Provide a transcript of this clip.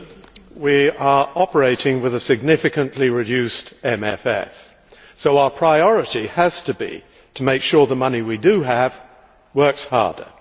Mr President, we are operating with a significantly reduced MFF so our priority has to be to make sure that the money we do have works harder.